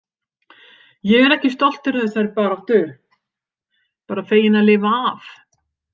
Ég er ekki stoltur af þessari baráttu, bara feginn að lifa af.